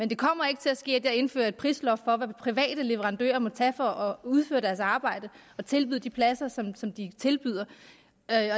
det kommer ikke til at ske at jeg indfører et prisloft for hvad private leverandører må tage for at udføre arbejdet og tilbyde de pladser som som de tilbyder